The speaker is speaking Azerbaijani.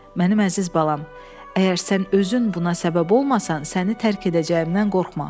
Mənim əziz balam, əgər sən özün buna səbəb olmasan, səni tərk edəcəyimdən qorxma.